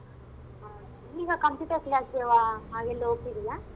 ಆ ಈಗ computer class ಗೆವ ಆಗೆಲ್ಲೋ ಹೋಗ್ತಿದ್ಯಲ್ಲ.